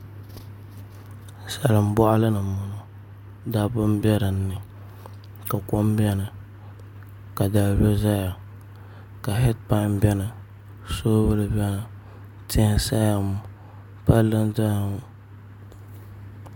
Salin boɣali ni n boŋo dabba n bɛ dinni ka kom biɛni ka dalibili ʒɛya ka heed pan biɛni soobuli biɛni tia n saya ŋo palli n ʒɛya ŋo